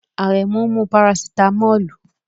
Aremu n mu parasitámọ́lù